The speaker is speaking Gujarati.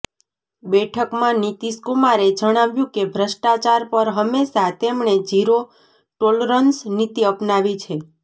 બેઠકમાં નીતિશકુમારે જણાવ્યું કે ભ્રષ્ટાચાર પર હંમેશા તેમણે ઝીરો ટોલરન્સ નીતિ અપનાવી છે